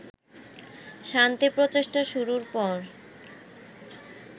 শান্তি প্রচেষ্টা শুরুর পর